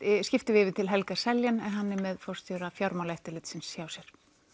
skiptum við yfir til Helga Seljan hann er með forstjóra Fjármálaeftirlitsins hjá sér